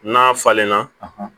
N'a falenna